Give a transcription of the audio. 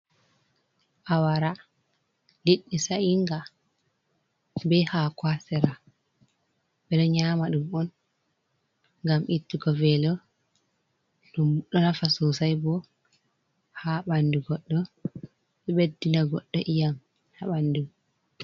Awara liɗɗi sa inga ɓe hako ha sera ɓeɗo nyama ɗum on gam ittugo velo ɗum ɗo nafa sosai bo ha ɓandu goɗɗo ɗo ɓeddina goddo iyam ha ɓandu.